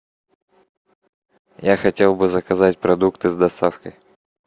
я хотел бы заказать продукты с доставкой